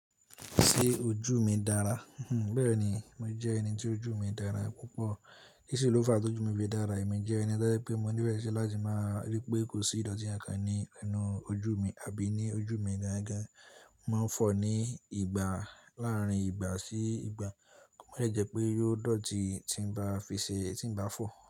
Ṣé ojú mi dára? Bẹ́ẹ̀ni, mo jẹ́ ẹni tí ojú mi dára púpọ̀. Kí ṣe ló fa tí ojú mi fi dára? Èmi jẹ́ ẹni tojẹ́ pé mo nífe ṣi láti máa rí pé kò sí ìdọ̀tí ànkàn ní inú ojú mi àbí ní ojú mi gangan. Mo ń fọ̀ ní ìgbà láàrín ìgbà sí ìgbà kí ó má dẹ́ je pé yóò dọ̀tí tí n bá fi ṣe, tí n bá fọ̀